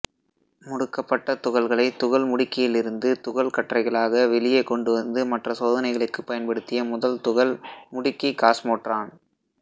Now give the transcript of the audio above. முடுக்கப்பட்ட துகள்களை துகள் முடுக்கியிலிருந்து துகள் கற்றைகளாக வெளியே கொண்டுவந்து மற்ற சோதனைகளுக்கு பயன்படுத்திய முதல் துகள் முடுக்கி காஸ்மோட்ரான்